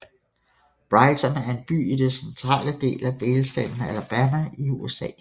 Brighton er en by i den centrale del af delstaten Alabama i USA